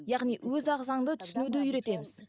яғни өз ағзаңды түсінуді үйретеміз